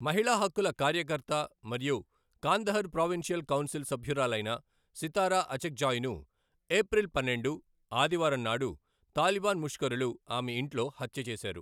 మహిళా హక్కుల కార్యకర్త మరియు కాందహార్ ప్రావిన్షియల్ కౌన్సిల్ సభ్యురాలైన సితార అచక్జాయ్ను, ఏప్రిల్ పన్నెండు, ఆదివారం నాడు తాలిబాన్ ముష్కరులు ఆమె ఇంట్లో హత్య చేసారు.